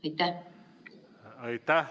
Aitäh!